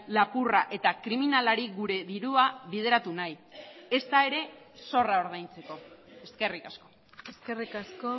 lapurra eta kriminalari gure dirua bideratu nahi ezta ere zorra ordaintzeko eskerrik asko eskerrik asko